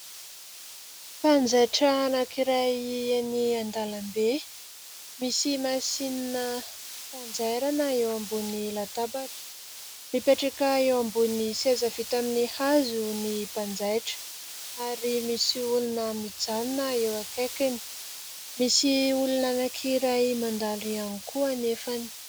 Mpanjaitra anankiray any an-dalambe, misy masinina fanjairana eo ambony latabatra. Mipetraka eo amin'ny seza vita amn'ny hazo ny mpanjaitra ary misy olona mijanona eo akaikiny ; misy olona anankiray mandalo ihay koa anefa.